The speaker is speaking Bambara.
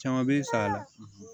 Caman bɛ sa